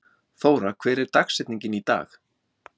Þóra, hver er dagsetningin í dag?